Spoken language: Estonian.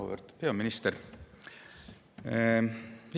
Auväärt peaminister!